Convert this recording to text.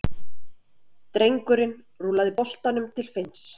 Drengurinn rúllaði boltanum til Finns.